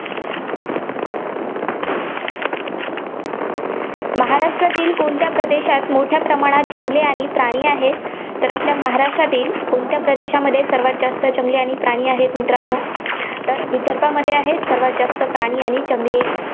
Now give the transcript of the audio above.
महाराष्ट्रातील कोणत्या प्रदेशात मोठ्या प्रमाणात जंगले आणि प्राणी आहेत? तर आपल्या महाराष्ट्रातील कोणत्या प्रदेशामध्ये सर्वांत जास्त जंगले आणि प्राणी आहेत, मित्रांनो. तर विदर्भामध्ये आहेत, सर्वांत जास्त प्राणी आणि जंगले.